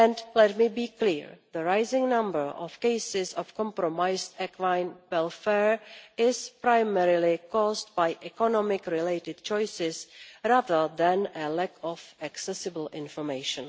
Let me be clear the rising number of cases of compromised equine welfare is primarily caused by economics related choices rather than a lack of accessible information.